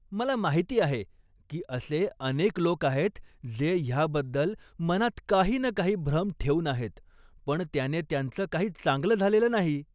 मला माहिती आहे की असे अनेक लोक आहेत जे ह्याबद्दल मनात काही ना काही भ्रम ठेऊन आहेत पण त्याने त्यांचं काही चांगलं झालेलं नाही.